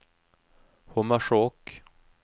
Hommersåk